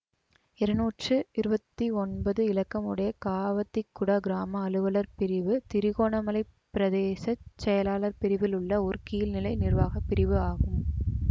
இருநூற்று இருவத்தி ஒன்பது இலக்கம் உடைய காவத்திக்குடா கிராம அலுவலர் பிரிவு திருகோணமலை பிரதேச செயலாளர் பிரிவில் உள்ள ஓர் கீழ்நிலை நிர்வாக பிரிவு ஆகும்